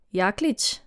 Jaklič?